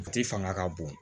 U ti fanga ka bon